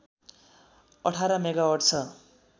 १८ megawatt छ